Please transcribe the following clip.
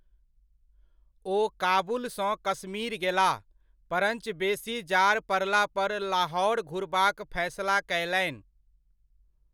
ओ काबुलसँ कश्मीर गेलाह, परञ्च बेसी जाड़ पड़ला पर लाहौर घुरबाक फैसला कयलनि।